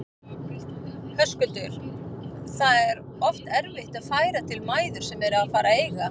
Höskuldur: Það er oft erfitt að færa til mæður sem eru að fara að eiga?